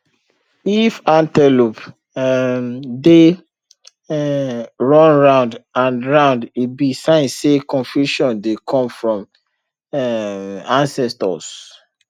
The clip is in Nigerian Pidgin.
if antelope um dey um run round and round e be sign say confusion dey come from um ancestors